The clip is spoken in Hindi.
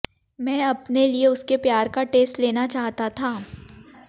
मैं अपने लिए उसके प्यार का टेस्ट लेना चाहता था